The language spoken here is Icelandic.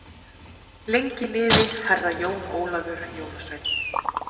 Lengi lifi Herra Jón Ólafur jólasveinn.